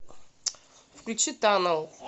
включи танэл